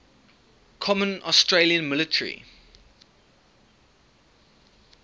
common australian military